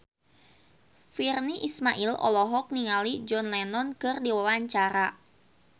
Virnie Ismail olohok ningali John Lennon keur diwawancara